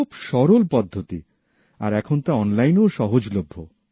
খুবই সরল পদ্ধতি আর এখন তা অনলাইনেও সহজলভ্য